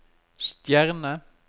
stjerne